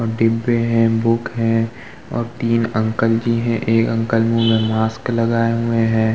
और डिब्बे हैंबुक हैं और तीन अंकल जी हैं एक अंकल मुँह में मास्क लगाए हुए हैं।